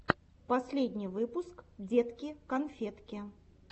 последний выпуск детки конфетки